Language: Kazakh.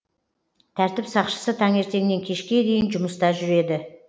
тәртіп сақшысы таңертеңнен кешке дейін жұмыста жүреді